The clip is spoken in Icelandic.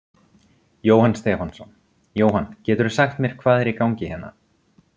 Jóhann Stefánsson: Jóhann, geturðu sagt mér hvað er í gangi hérna?